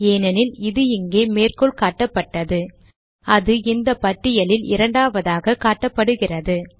ஏனெனில் இது இங்கே மேற்கோள் காட்டப்பட்டது அது இந்த பட்டியலில் இரண்டாவதாக காட்டப்படுகிறது